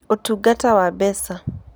Ũtungata wa Mbeca: